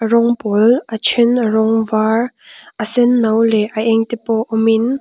rawng pawl a then a rawng var a senno leh a eng te pawh awmin--